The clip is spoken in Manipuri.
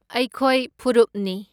ꯑꯩꯈꯣꯏ ꯐꯨꯔꯨꯞꯅꯤ꯫